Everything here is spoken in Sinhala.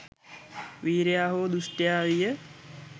වීරයා හෝ දුෂ්ටයා විය